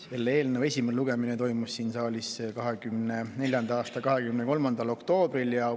Selle eelnõu esimene lugemine toimus siin saalis 2024. aasta 23. oktoobril.